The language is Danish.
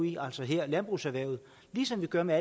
i altså her landbrugserhvervet ligesom vi gør med